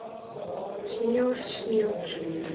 Snjór, snjór.